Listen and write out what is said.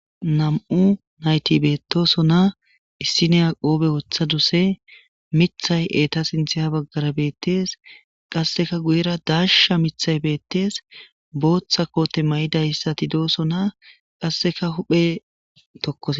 Nam'u naytti betoosona miththi izeta guye baggara beetesqasdeka sinthtara daashsha mithati beetosona. qaseko guyera dasha mithayi betes